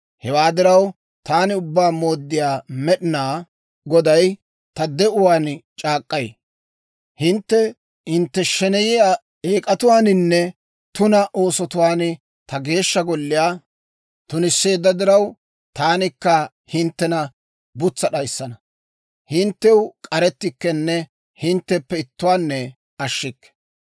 «Hewaa diraw, taani Ubbaa Mooddiyaa Med'inaa Goday ta de'uwaan c'aak'k'ay: Hintte hintte sheneyiyaa eek'atuwaaninne tuna oosotuwaan ta Geeshsha Golliyaa tunisseedda diraw, taanikka hinttena butsa d'ayissana. Hinttew k'arettikkenne hintteppe ittuwaanne ashshikke.